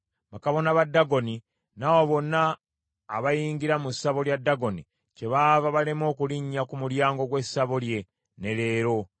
Bakabona ba Dagoni n’abo bonna abayingira mu ssabo lya Dagoni kyebava balema okulinnya ku mulyango gw’essabo lye, ne leero.